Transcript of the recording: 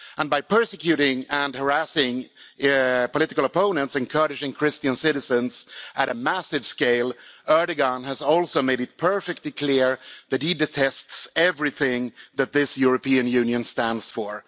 And by persecuting and harassing political opponents and Kurdish and Christian citizens on a massive scale, Erdoğan has also made it perfectly clear that he detests everything that this European Union stands for.